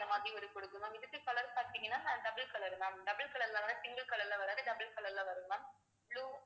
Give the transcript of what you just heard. அந்த மாதிரி குடுக்கும் ma'am இதுக்கு color பார்த்தீங்கன்னா நான் double color ma'am double color ல வர single color ல வரது double color ல வரும் ma'am blue